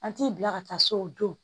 An t'i bila ka taa so o don